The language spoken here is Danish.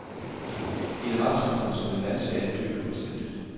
I et retssamfund som det danske er det dybt uanstændigt.